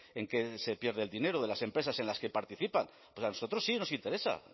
en qué se pierde el dinero de las empresas en las que participan pues a nosotros sí nos interesa